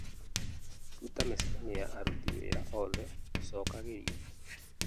rũta mĩcemanio ya aruti wĩra oothe ũcokagĩrio